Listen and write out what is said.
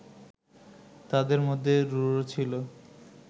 তাদের মধ্যে রুরু ছিল